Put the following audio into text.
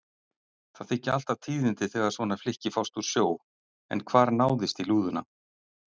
Það þykja alltaf tíðindi þegar svona flykki fást úr sjó, en hvar náðist í lúðuna?